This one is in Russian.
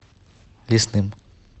лесным